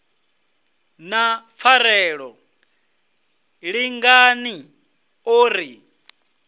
na pfarelo lingani o ri